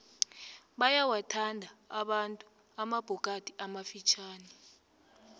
bayawathanda abantu amabhokadi amafitjhani